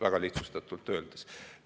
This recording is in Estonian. Väga lihtsustatult öeldes.